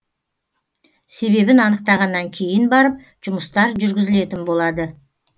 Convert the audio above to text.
себебін анықтағаннан кейін барып жұмыстар жүргізілетін болады